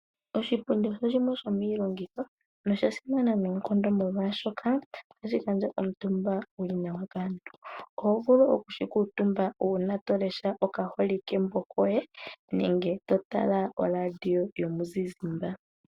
Oshipundi osho shimwe shomiilongitho nosha simana noonkondo molwaashoka ohashi gandja omutumba kaantu . Ohovulu oku shi kuutumba uuna tolesha oka holike mbo koye nenge totala oradio yomuzizimba.